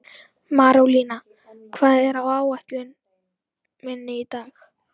Marólína, hvað er á áætluninni minni í dag?